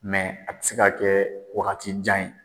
Mɛ a tɛ se ka kɛ wagatijan ye